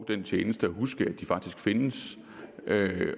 rimelig